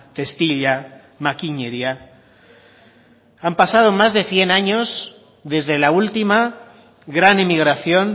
testila makineria han pasado más de cien años desde la última gran emigración